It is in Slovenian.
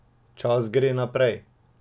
Čas gre naprej.